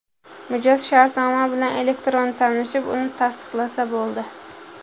Mijoz shartnoma bilan elektron tanishib, uni tasdiqlasa bo‘ldi.